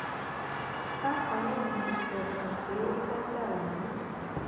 bákan náà ni ẹsùn pé ó fẹẹ dàlú rú